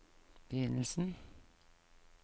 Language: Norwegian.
begynnelsen